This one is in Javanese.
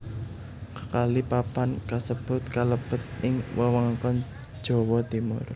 Kekalih papan kasebut kalebet ing wewengkon Jawa Timur